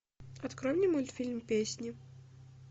открой мне мультфильм песни